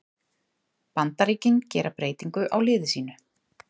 Bandaríkin gera breytingu á liði sínu